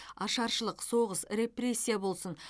ашаршылық соғыс репрессия болсын